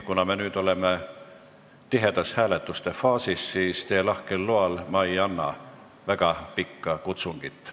Kuna me nüüd oleme tihedas hääletuste faasis, siis teie lahkel loal ma ei anna väga pikka kutsungit.